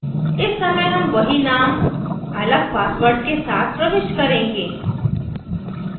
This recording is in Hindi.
इस समय हम वही name अलग password के साथ प्रविष्ट करेंगे